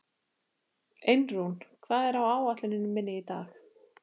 Einrún, hvað er á áætluninni minni í dag?